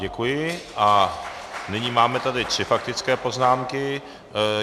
Děkuji a nyní máme tady tři faktické poznámky.